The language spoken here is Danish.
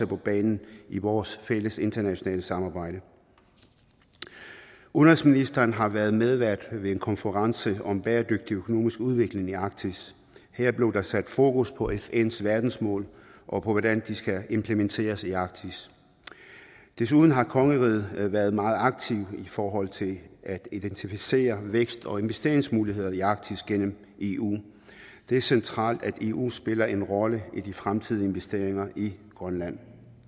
på banen i vores fælles internationale samarbejde udenrigsministeren har været medvært ved en konference om en bæredygtig økonomisk udvikling i arktis her blev der sat fokus på fns verdensmål og på hvordan de skal implementeres i arktis desuden har kongeriget været meget aktivt i forhold til at identificere vækst og investeringsmuligheder i arktis gennem eu det er centralt at eu spiller en rolle i de fremtidige investeringer i grønland